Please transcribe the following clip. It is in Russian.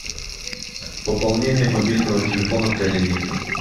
пополнение мобильного телефона коллеги